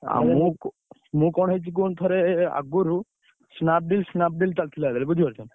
ମୁଁ କଣ ହେଇଛି କୁହନି ଥରେ ଆଗୁରୁ, Snapdeal ଚାଲିଥିଲା ସେତବେଳେ ବୁଝିପାରୁଛନା।